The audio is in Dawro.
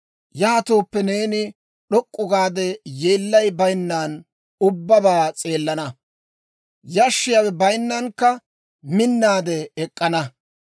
yaatooppe, neeni d'ok'k'u gaade yeellay bayinnan ubbabaa s'eelana; yashshiyaawe bayinnankka minnaade ek'k'ana.